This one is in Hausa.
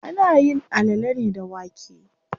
Ana yin alale ne da wake.